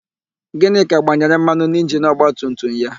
Gịnịka gbanyere mmanụ n'injinu ọgbatumtum ya.